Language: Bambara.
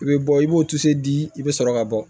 I bɛ bɔ i b'o di i bɛ sɔrɔ ka bɔ